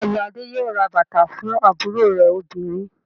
Bẹ́ẹ̀ ni, Adé yóò ra bàtà fún àbúrò rẹ̀ obìnrin.